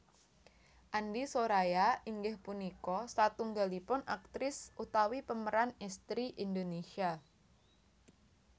Andie Soraya inggih punika satunggalipun aktris utawi pemeran estri Indonesia